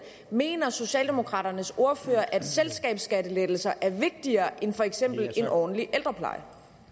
mener socialdemokraternes ordfører at selskabsskattelettelser er vigtigere end for eksempel en ordentlig ældrepleje